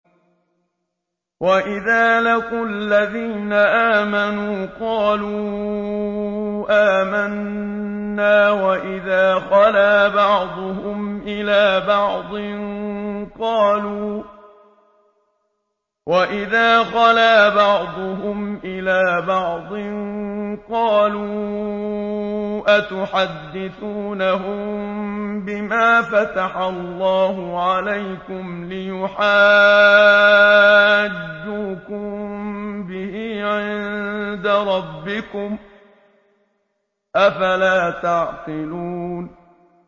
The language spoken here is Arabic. وَإِذَا لَقُوا الَّذِينَ آمَنُوا قَالُوا آمَنَّا وَإِذَا خَلَا بَعْضُهُمْ إِلَىٰ بَعْضٍ قَالُوا أَتُحَدِّثُونَهُم بِمَا فَتَحَ اللَّهُ عَلَيْكُمْ لِيُحَاجُّوكُم بِهِ عِندَ رَبِّكُمْ ۚ أَفَلَا تَعْقِلُونَ